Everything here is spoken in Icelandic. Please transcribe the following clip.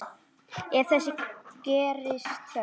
Ef þess gerist þörf